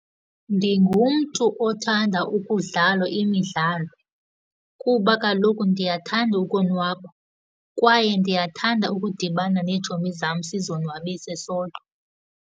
Ndingumntu othanda ukudlala imidlalo, kuba kaloku ndiyathanda ukonwaba kwaye ndiyathanda ukudibana neetshomi zam sizonwabise .